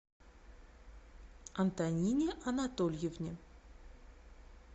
антонине анатольевне